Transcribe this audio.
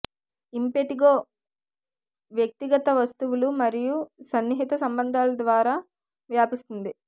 impetigo వ్యక్తిగత వస్తువులు మరియు సన్నిహిత సంబంధాల ద్వారా వ్యాపిస్తుంది